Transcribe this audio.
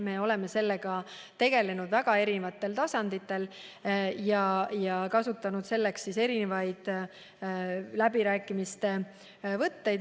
Me oleme sellega tegelenud mitmetel tasanditel ja kasutanud selleks erisuguseid läbirääkimiste võtteid.